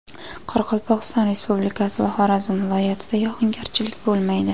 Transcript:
Qoraqalpog‘iston Respublikasi va Xorazm viloyatida yog‘ingarchilik bo‘lmaydi.